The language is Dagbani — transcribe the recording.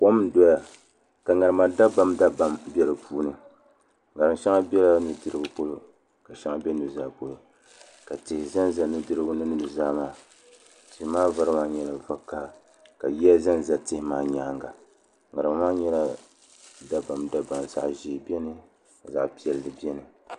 Kom n doya ka ŋarima dabam dabam bɛ di puuni ŋarim shɛŋa bɛla nudirigu polo ka shɛŋa bɛ nuzaa polo ka tihi ʒɛnʒɛ nudirigu mini nuzaa maa tihi maa vari maa nyɛla vakaɣa ka yiya ʒɛnʒɛ tihi maa nyaanga ŋarima maa nyɛla dabamdabam zaɣ ʒiɛ biɛni ka zaɣ piɛlli biɛni